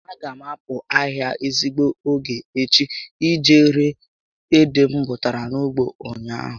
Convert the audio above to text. A ga m a pụ ahịa n'ezigbo ógè echi iji ree ede m bụtara na ugbo ụnyaahụ